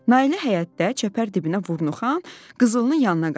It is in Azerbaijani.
Nailə həyətdə çəpər dibinə vurnuxan qızılının yanına qaçdı.